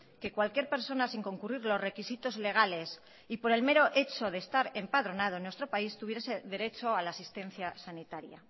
que cualquier persona sin concurrir los requisitos legales y por el mero hecho de estar empadronado en nuestro país tuviese derecho a la asistencia sanitaria